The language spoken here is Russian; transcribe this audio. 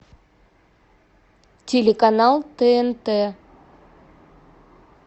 телеканал тнт